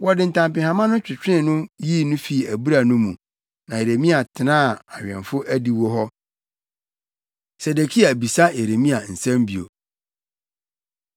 Wɔde ntampehama no twetwee no yii no fii abura no mu. Na Yeremia tenaa awɛmfo adiwo hɔ. Sedekia Bisa Yeremia Nsɛm Bio